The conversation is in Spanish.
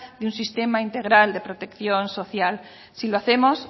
de un sistema integral de protección social si lo hacemos